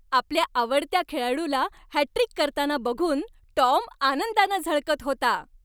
आपल्या आवडत्या खेळाडूला हॅटट्रिक करताना बघून टॉम आनंदानं झळकत होता.